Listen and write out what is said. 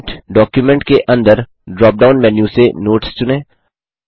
print Documentके अंदर drop down menu से नोट्स चुनें